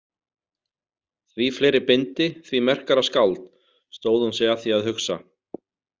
Því fleiri bindi, því merkara skáld, stóð hún sig að því að hugsa.